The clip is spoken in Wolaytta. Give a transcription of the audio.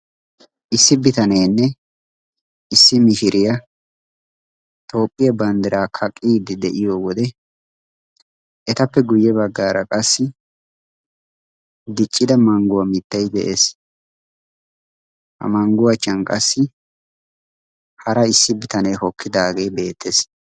Issi bitanenne issi mishiriya toophiyaa banddiraa kaqqiiddi de'iyoode, etappe guyye baggaara qassi diccida mangguwa mittay des, ha mangguwa achchan qassi hara issi bitanee hokkidaage beettees.